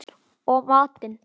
Og matinn